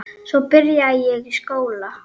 Svo byrjaði ég í skóla.